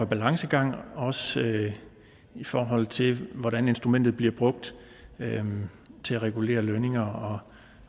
balancegang også i forhold til hvordan instrumentet bliver brugt til at regulere lønninger